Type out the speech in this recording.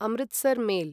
Amritsar mail